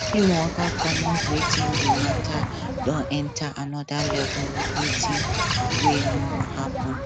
him waka commot wen di matter don enta anoda level with wetin wey no happen